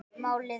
Málið er